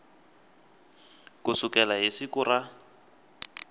ku sukela hi siku ra